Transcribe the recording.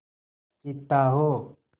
चीता हो